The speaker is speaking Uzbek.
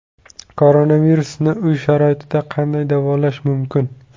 Koronavirusni uy sharoitida qanday davolash mumkin?